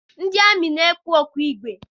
Ndị amị na-ekpu okpu igwe